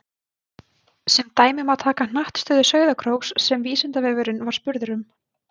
Sem dæmi má taka hnattstöðu Sauðárkróks sem Vísindavefurinn var spurður um.